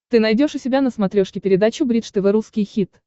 ты найдешь у себя на смотрешке передачу бридж тв русский хит